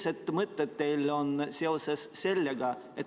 Mis mõtted teil seoses sellega on?